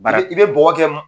Bara i bɛ i bɛ bɔgɔkɛ